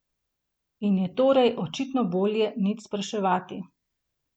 In je torej očitno bolje nič spraševati.